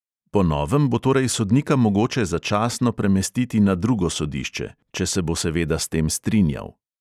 Po novem bo torej sodnika mogoče začasno premestiti na drugo sodišče, če se bo seveda s tem strinjal.